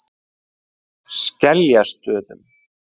Skeljastöðum